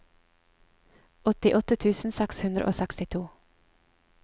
åttiåtte tusen seks hundre og sekstito